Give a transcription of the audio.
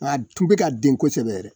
Wa a tun bɛ ka den kosɛbɛ.